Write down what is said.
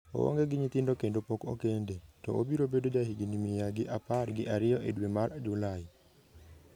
Oonge gi nyithindo kendo pok okende, to obiro bedo jahigini mia gi apar gi ariyo e dwe mar Julai.